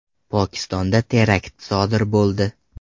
Pokistonda terakt sodir bo‘ldi.